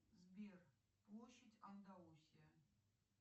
сбер площадьандаусия